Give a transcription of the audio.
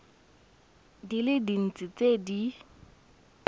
di le dintsi tse di